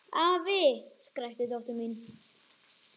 Afi! skrækti dóttir mín.